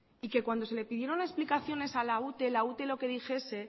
y que cuando se le pidieron explicaciones a la ute la ute lo que dijese